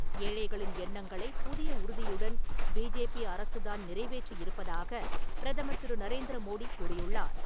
ஏழைகளின் எண்ணங்களை புதிய உறுதியுடன் பிஜேபி அரசுதான் நிறைவேற்றி இருப்பதாக பிரதமர் திரு. நரேந்திர மோடி கூறியுள்ளார்.